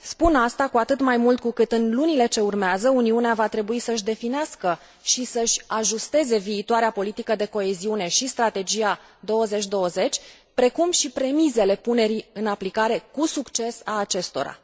Spun asta, cu atât mai mult cu cât, în lunile ce urmează, Uniunea va trebui să își definească și să își ajusteze viitoarea politică de coeziune și strategia 2020, precum și premisele punerii în aplicare cu succes a acestora.